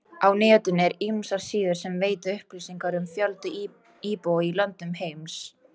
Á netinu eru ýmsar síður sem veita upplýsingar um fjölda íbúa í löndum heims.